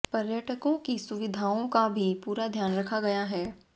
पर्यटकों की सुविधाओं का भी पूरा ध्यान रखा गया है